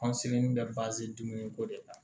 bɛ dumuni ko de la